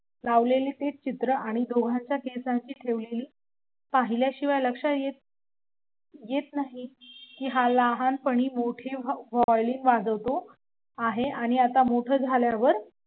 लावलेले ते चित्र आणि दोघांच्या केसांची ठेवलेली पाहिल्याशिवाय लक्षात येत नाही लहानपणी मोठी violin वाजवतो आणि आता मोठा झाल्यावर